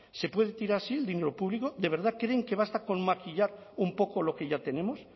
se puede tirar así el dinero público de verdad creen que basta con maquillar un poco lo que ya tenemos